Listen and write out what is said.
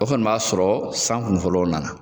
O kɔni b'a sɔrɔ san kun fɔlɔw nana